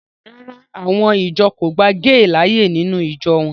Rárá, àwọn ìjọ kò gba géè láàyè nínú ìjọ wọn